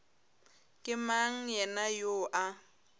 ke mang yena yoo a